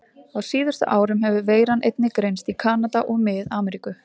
Á síðustu árum hefur veiran einnig greinst í Kanada og Mið-Ameríku.